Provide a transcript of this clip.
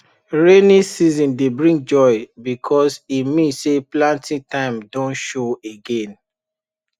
rainy season dey bring joy because e mean say planting time don show again